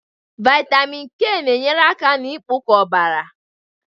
Vitamin K na-enyere aka na mkpụkọ ọbara.